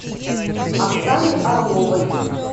оксане орловой